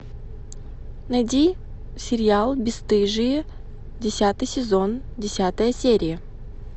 найди сериал бесстыжие десятый сезон десятая серия